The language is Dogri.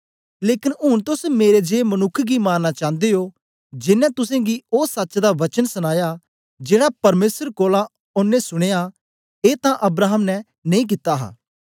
लेकन ऊन तोस मेरे जिए मनुक्ख गी मारना चांदे ओ जेनें तुसेंगी ओ सच्च दा वचन दसया जेड़ा परमेसर कोलां ओनें सुनया ए तां अब्राहम ने नेई कित्ता हा